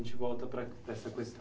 a gente volta para, para essa questão.